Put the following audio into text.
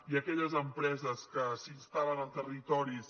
i aque·lles empreses que s’instal·len en territoris